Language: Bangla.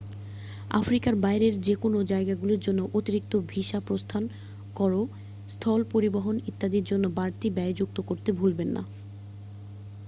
আফ্রিকার বাইরের যেকোনোও জায়গাগুলির জন্য অতিরিক্ত ভিসা প্রস্থান কর স্থল পরিবহন ইত্যাদির জন্য বাড়তি ব্যয় যুক্ত করতে ভুলবেন না